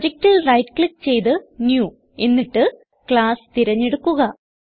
പ്രൊജക്റ്റിൽ right click ചെയ്ത് new എന്നിട്ട് class തിരഞ്ഞെടുക്കുക